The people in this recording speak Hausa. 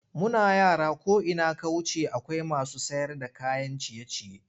Muna yara ko ina ka wuce akwai masu sayarda kayan ciye-ciye.